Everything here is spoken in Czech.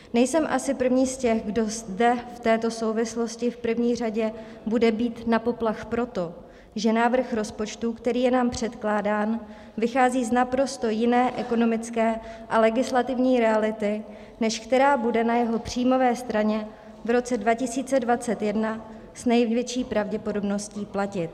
Nejsem asi první z těch, kdo zde v této souvislosti v první řadě bude bít na poplach proto, že návrh rozpočtu, který je nám předkládán, vychází z naprosto jiné ekonomické a legislativní reality, než která bude na jeho příjmové straně v roce 2021 s největší pravděpodobní platit.